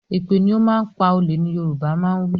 Èpè ni ó máa ń pa olè ni Yorùbá máa ń wí